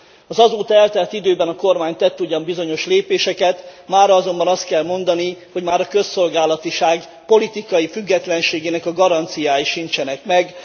Az azóta eltelt időben a kormány tett ugyan bizonyos lépéseket, mára azonban azt kell mondani, hogy már a közszolgálatiság politikai függetlenségének a garanciái sincsenek meg.